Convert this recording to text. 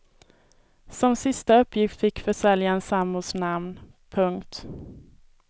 Som sista uppgift fick försäljaren sambons namn. punkt